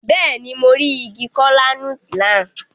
Béèni, mo ri ìgi kola-nut náà